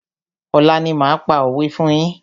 Ọ̀la ni máa pa òwé fún yín.